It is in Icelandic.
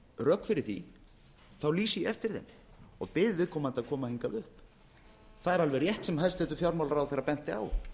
rök fyrir því þá lýsti ég eftir þeim og bið viðkomandi að koma hingað upp það er alveg rétt sem hæstvirtur fjármálaráðherra benti á